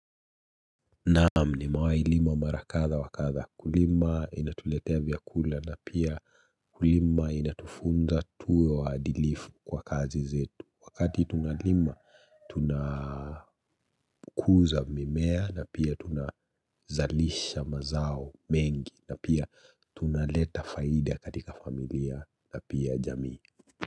Naam nimewahi lima mara kadha wakadha kulima inatuletea vyakula na pia kulima inatufunza tuwe waadilifu kwa kazi zetu. Wakati tunalima tunakuza mimea na pia tunazalisha mazao mengi na pia tunaleta faida katika familia na pia jamii.